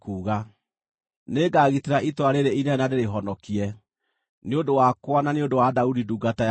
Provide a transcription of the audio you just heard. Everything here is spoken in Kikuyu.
“Nĩngagitĩra itũũra rĩĩrĩ inene na ndĩrĩhonokie, nĩ ũndũ wakwa na nĩ ũndũ wa Daudi ndungata yakwa!”